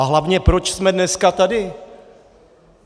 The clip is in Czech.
A hlavně, proč jsme dneska tady?